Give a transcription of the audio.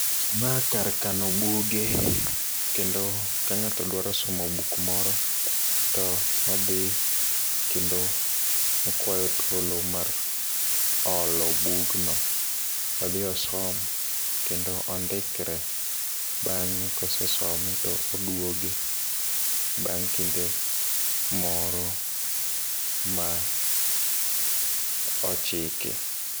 Ma kar kano buge kendo ka ng'ato dwaro somo buk moro to odhi kendo okwayo thuolo mar holo bugno odhi osom, kendo ondikre. Bang'e ka osesome to oduoge, bang' kinde moro ma ochiki.